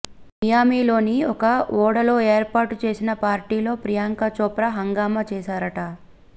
మియామిలోని ఒక ఓడలో ఏర్పాటు చేసిన పార్టీలో ప్రియాంక చోప్రా హంగామా చేశారట